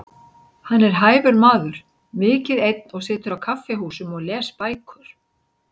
Hann er hæfur maður, mikið einn og situr á kaffihúsum og les bækur.